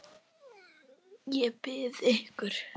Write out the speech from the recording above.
Ég bið ykkur!